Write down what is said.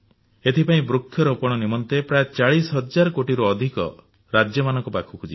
ଏଥିପାଇଁ ବୃକ୍ଷରୋପଣ ନିମନ୍ତେ ପ୍ରାୟ 40 ହଜାର କୋଟି ଟଙ୍କାରୁ ଅଧିକ ରାଜ୍ୟମାନଙ୍କ ପାଖକୁ ଯିବ